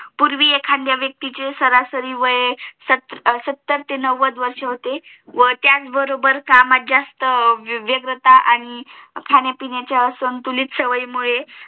पूर्वी एखादया व्यक्तीचे सरासरी वय सत्तर ते नौवद वर्ष होते व त्याच बरोबर कामात जास्त व्यंगता आणि हम्म खाण्यापिण्याच्या संतुलित सावियीमुळे